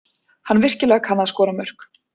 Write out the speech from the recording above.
Hann virkilega kann að skora mörk.